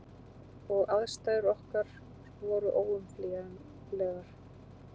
Og aðstæður okkar voru óumflýjanlegar.